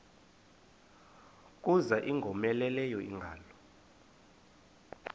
kuza ingowomeleleyo ingalo